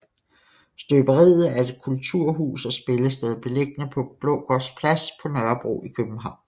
Støberiet er et kulturhus og spillested beliggende på Blågårds Plads på Nørrebro i København